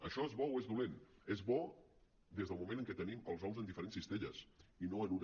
això és bo o és dolent és bo des del moment en què tenim els ous en diferents cistelles i no en una